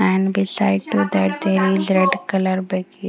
and beside to their there is red color --